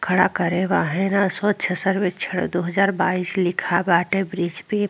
खड़ा करे बा। हेना स्वच्छ सर्वेछण दू हज़ार बाइश लिखा बाटे ब्रिज पे --